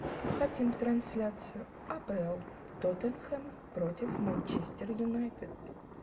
хотим трансляцию апл тоттенхэм против манчестер юнайтед